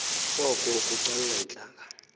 oko kucalula iintlanga